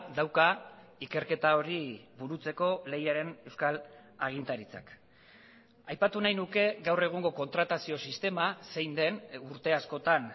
dauka ikerketa hori burutzeko lehiaren euskal agintaritzak aipatu nahi nuke gaur egungo kontratazio sistema zein den urte askotan